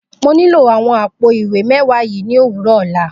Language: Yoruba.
Mo nílò awọn àwọ̀ àpò-ìwé mẹwa yii ni owurọ ọla.